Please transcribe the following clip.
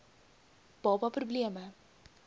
baba pro bleme